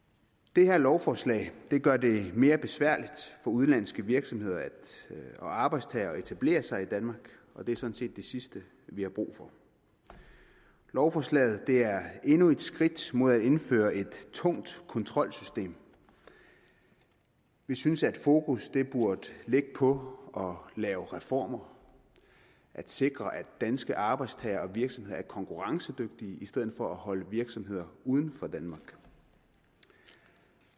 det her lovforslag gør det mere besværligt for udenlandske virksomheder og arbejdstagere at etablere sig i danmark og det er sådan set det sidste vi har brug for lovforslaget er endnu et skridt mod at indføre et tungt kontrolsystem vi synes at fokus burde ligge på at lave reformer at sikre at danske arbejdstagere og virksomheder er konkurrencedygtige i stedet for på at holde virksomheder uden for danmark